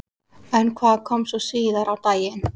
En hvað kom svo síðar á daginn?